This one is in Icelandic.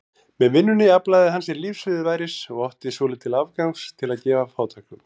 Með vinnunni aflaði hann sér lífsviðurværis og átti svolítið afgangs til að gefa fátækum.